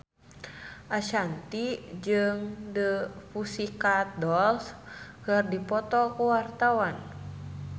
Ashanti jeung The Pussycat Dolls keur dipoto ku wartawan